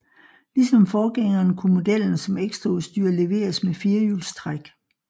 Ligesom forgængeren kunne modellen som ekstraudstyr leveres med firehjulstræk